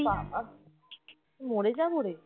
বাবা! মরে যাবো রে